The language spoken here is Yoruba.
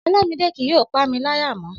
Ọlamide kì yóò pamí láyà mọ́